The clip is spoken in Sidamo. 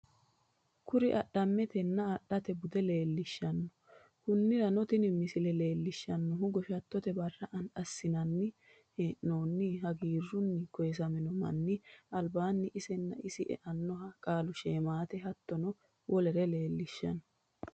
Kuri adhametenna adhatte buude leelishano, konirano tini misile leelishanohu goshatotte bara asinanni hee'noonni haggirunni koyisaminno mani alibanni isenna isi e'anoha qaalu sheemate hatono wolere leelishano